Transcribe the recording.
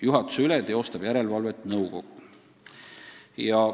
Juhatuse üle teostab järelevalvet nõukogu.